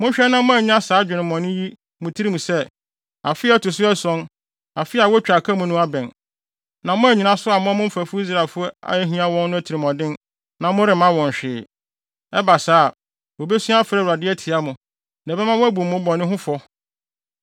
Monhwɛ na moannya saa adwemmɔne yi wɔ mo tirim sɛ: “Afe a ɛto so ason, afe a wotwa aka mu no, abɛn,” na moannyina so ammɔ mo mfɛfo Israelfo a ahia wɔn no atirimɔden a moremma wɔn hwee. Ɛba saa a, wobesu afrɛ Awurade de atia mo, na ɛbɛma wɔabu mo bɔne ho fɔ.